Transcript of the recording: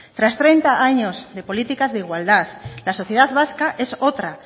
tras treinta años de políticas de igualdad la sociedad vasca es otra